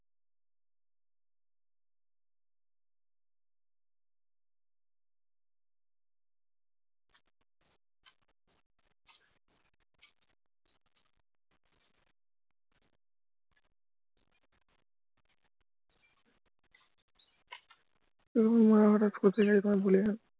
ওরকম মানে হটাৎ কোথায় যায় তোমায় বলে যায়